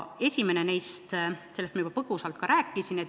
Esimesest ma juba põgusalt rääkisin.